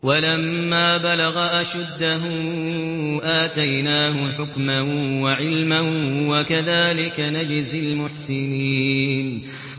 وَلَمَّا بَلَغَ أَشُدَّهُ آتَيْنَاهُ حُكْمًا وَعِلْمًا ۚ وَكَذَٰلِكَ نَجْزِي الْمُحْسِنِينَ